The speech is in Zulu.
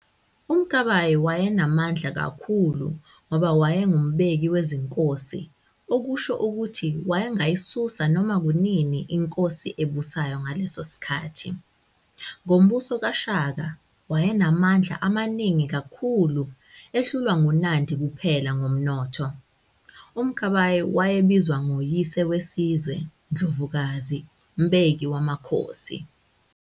uMkabayi wayenamandla kakhulu ngoba waye ngumbeki wezinkosi okusho ukuthi wayengayisusa noma kunini inkosi ebusayo ngaleso sikhathi. Ngombuso kaShaka, waye namandla amaningi kakhulu, ehlulwa nguNandi kuphela ngomnotho. uMkabayi waye bizwa ngo "yise wesizwe, Ndlovukazi, mbeki wamakhosi".